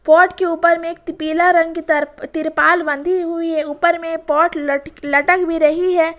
Pot के ऊपर में एक पीला रंग की तर तिरपाल बंधी हुई है ऊपर में पॉट लट लटक भी रही है।